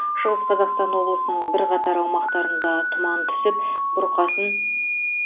шығыс қазақстан облысының бірқатар аумақтарында тұман түсіп бұрқасын